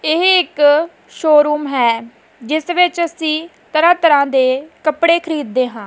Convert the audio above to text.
ਇਹ ਇੱਕ ਸ਼ੋਰੂਮ ਹੈ ਜਿਸ ਵਿੱਚ ਅਸੀਂ ਤਰ੍ਹਾਂ ਤਰ੍ਹਾਂ ਦੇ ਕੱਪੜੇ ਖਰੀਦਦੇ ਹਾਂ।